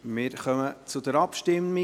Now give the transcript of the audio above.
Wir kommen zur Abstimmung.